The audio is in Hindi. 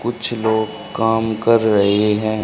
कुछ लोग काम कर रहे हैं।